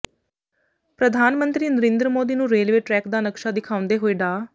ਪ੍ਰਧਾਨ ਮੰਤਰੀ ਨਰਿੰਦਰ ਮੋਦੀ ਨੂੰ ਰੇਲਵੇ ਟਰੈਕ ਦਾ ਨਕਸ਼ਾ ਦਿਖਾਉਂਦੇ ਹੋਏ ਡਾ